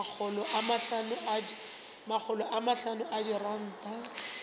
makgolo a mahlano a diranta